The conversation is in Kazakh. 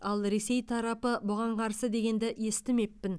ал ресей тарапы бұған қарсы дегенді естімеппін